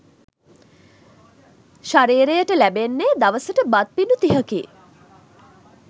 ශරීරයට ලැබෙන්නේ දවසට බත් පිඬු තිහකි.